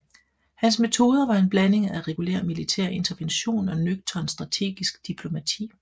Hans metoder var en blanding af regulær militær intervention og nøgtern strategisk diplomati